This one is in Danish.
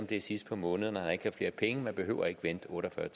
det er sidst på måneden og han ikke har flere penge man behøver ikke at vente otte og fyrre